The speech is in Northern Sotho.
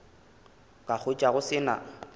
ka hwetša go se na